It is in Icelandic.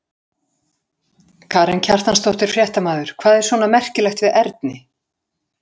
Karen Kjartansdóttir, fréttamaður: Hvað er svona merkilegt við erni?